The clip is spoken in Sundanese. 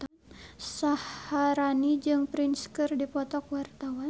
Syaharani jeung Prince keur dipoto ku wartawan